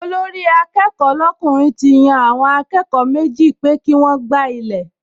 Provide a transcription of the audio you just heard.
Olórí-akẹ́kọ̀ọ́ lọ́kùnrin ti yan àwọn akẹ́kọ̀ọ méjì pé kí wọ́n gbá ilẹ̀